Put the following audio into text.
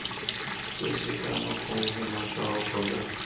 tse sekano gongwe matshwao kgotsa